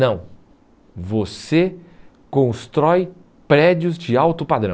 Não, você constrói prédios de alto padrão.